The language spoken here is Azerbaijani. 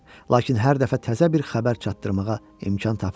Lakin hər dəfə təzə bir xəbər çatdırmağa imkan tapırdı.